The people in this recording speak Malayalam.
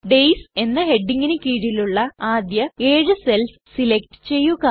ഡെയ്സ് എന്ന ഹെഡിംഗിന് കീഴിലുള്ള ആദ്യ ഏഴു സെൽസ് സെലക്ട് ചെയ്യുക